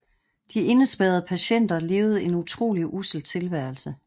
De indespærrede patienter levede en utrolig ussel tilværelse